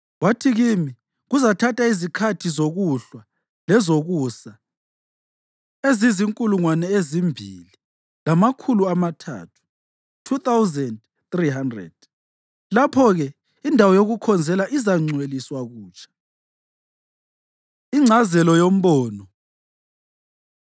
Wathi kimi, “Kuzathatha izikhathi zokuhlwa lezokusa ezizinkulungwane ezimbili lamakhulu amathathu (2,300); lapho-ke indawo yokukhonzela izangcweliswa kutsha.” Ingcazelo Yombono